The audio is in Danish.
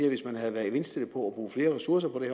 at hvis man havde været indstillet på at bruge flere ressourcer på det